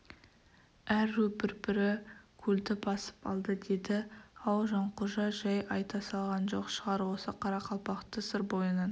әр ру бір-бірі көлді басып алды деді-ау жанқожа жай айта салған жоқ шығар осы қарақалпақты сыр бойынан